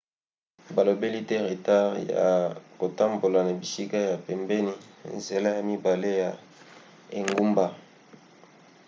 balobeli te retard ya kotambola na bisika ya pembeni nzela ya mibale ya engumba